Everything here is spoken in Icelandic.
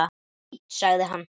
Fínt- sagði hann.